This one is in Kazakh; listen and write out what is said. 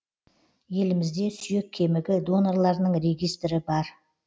елімізде сүйек кемігі донорларының регистрі бар